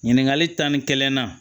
Ɲininkali tan ni kelenna